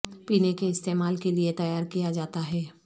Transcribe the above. پینے کے استعمال کے لیے تیار کیا جاتا ہے